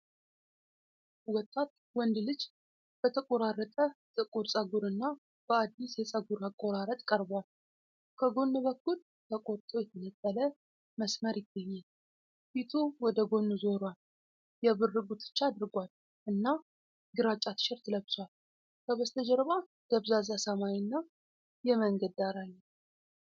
ወጣት ወንድ ልጅ በተቆራረጠ ጥቁር ፀጉርና በአዲስ የፀጉር አቆራረጥ ቀርቧል። ከጎን በኩል ተቆርጦ የተነጠለ መስመር ይገኛል። ፊቱ ወደ ጎን ዞሯል፣ የብር ጉትቻ አድርጓል፣ እና ግራጫ ቲሸርት ለብሷል። ከበስተጀርባ ደብዛዛ ሰማይና የመንገድ ዳር አለ።